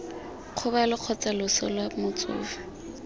kgobalo kgotsa loso lwa motsofe